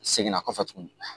Seginna kɔfɛ tuguni